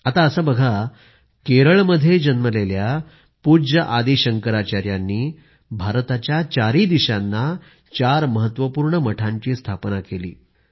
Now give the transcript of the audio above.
आता असे बघा केरळ मध्ये जन्मलेल्या पूज्य आदी शंकराचार्यांनी भारताच्या चारी दिशांना चार महत्त्वपूर्ण मठांची स्थापना केली